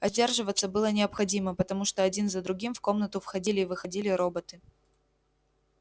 а сдерживаться было необходимо потому что один за другим в комнату входили и выходили роботы